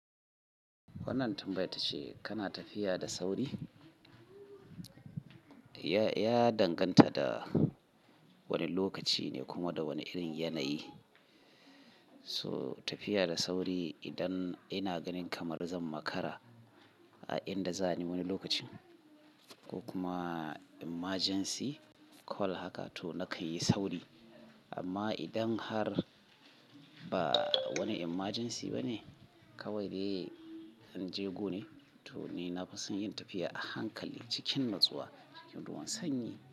Wannan tambayarta ce, kana tafiya da sauri? Ya, ya danganta da wani lokaci ne kuma da wani irin yanayi. So tafiya da sauri idan ina ganin kamar zan makara a inda za ni wani lokacin ko kuma emergency call haka to na ka yi sauri. Amma idan har ba wani emergency ba ne kawai dai an jegu ne, to ni na fison yin tafiya a hankali cikin natsuwa ruwan sanyi.